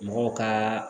Mɔgɔw ka